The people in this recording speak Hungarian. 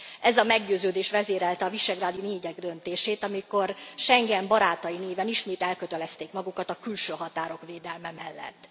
Ez a meggyőződés vezérelte a visegrádi négyek döntését, amikor Schengen barátai néven ismét elkötelezték magukat a külső határok védelme mellett.